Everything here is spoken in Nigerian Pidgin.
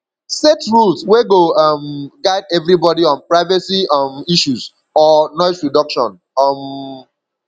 set rules wey go um guide everybody on privacy um issues or noise reduction um